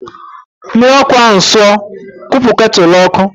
Mmiri ọkụ ahụ sụọ, kwụpụ ketụlụ n'ọkụ!.